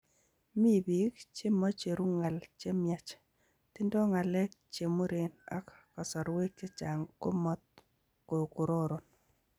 Mi biik chemocheru ng'al chemnyach, tindo ng'alek chemuren ak kasarwek chechang komo kororon.